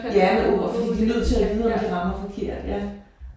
Ja med for de er nødt til at vide om de rammer forkert ja